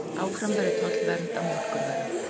Áfram verði tollvernd á mjólkurvörum